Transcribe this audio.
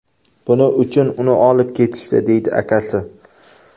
Buning uchun uni olib ketishdi, deydi akasi.